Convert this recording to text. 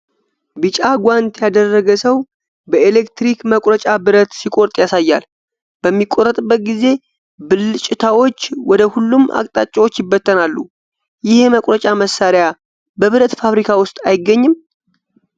ቢጫ ጓንት ያደረገ ሰው በኤሌክትሪክ መቁረጫ ብረት ሲቆርጥ ያሳያል። በሚቆረጥበት ጊዜ ብልጭታዎች ወደ ሁሉም አቅጣጫዎች ይበተናሉ፤ ይህ የመቁረጫ መሳሪያ በብረት ፋብሪካ ውስጥ አይገኝም?